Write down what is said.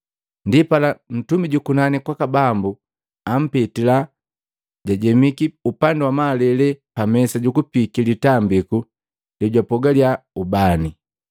Ndipala ntumi jukunani kwaka Bambu ampitila, jajemiki upandi wamalele pa mesa jukupiiki litambiku lejwapogalya ubani.